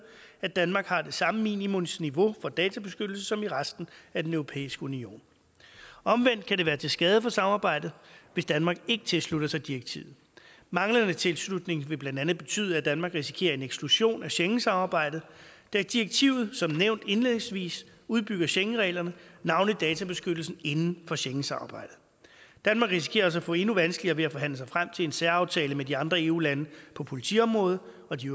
at danmark har det samme minimumsniveau for databeskyttelse som i resten af den europæiske union omvendt kan det være til skade for samarbejdet hvis danmark ikke tilslutter sig direktivet manglende tilslutning vil blandt andet betyde at danmark risikerer en eksklusion af schengensamarbejdet da direktivet som nævnt indledningsvis udbygger schengenreglerne navnlig databeskyttelsen inden for schengensamarbejdet danmark risikerer altså at få endnu vanskeligere ved at forhandle sig frem til en særaftale med de andre eu lande på politiområdet og de